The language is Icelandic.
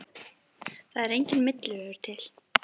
Það er enginn milli vegur til.